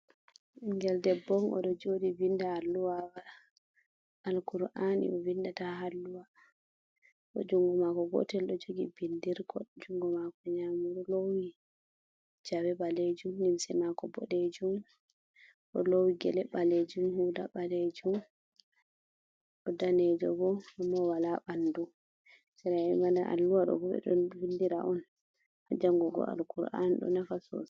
Bingel debb on odo jodi vinda alluwa al kur'ani ,o vindata ha alluwa bo jungo mako gotel do jogi bindirko jungo mako nyamur lowi jawe balejum limse mako bodejum bo lowi gele balejum hula balejum do danejo bo amma wala bandu sra’e mana alluwa do bode don vindira on hajangugo al kur'an do nafa sosai.